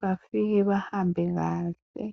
bafike bahambe kahle.